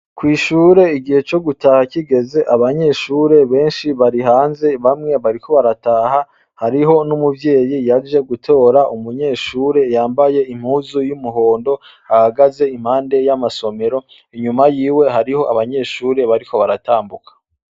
Kwishure igihe co gutaha kigeze abanyeshure benshi bari hanze bamwe bariko barataha hariho n'umuvyeyi yaje gutora umunyeshure yambaye impuzu y'umuhondo ahagaze impande y'amasomero inyuma yiwe hariho abanyeshure bariko baratambuka.